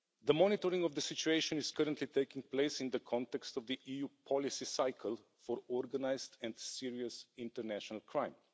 Monitoring of the situation is currently taking place in the context of the EU policy cycle for organised and serious international crime.